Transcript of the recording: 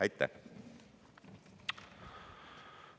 Aitäh!